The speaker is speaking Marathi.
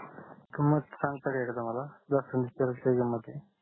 किमत सांगता एखदा मला जास्वंदीच काय किमत आहे